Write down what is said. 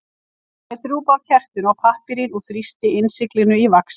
Hann lét drjúpa af kertinu á pappírinn og þrýsti innsiglinu í vaxið.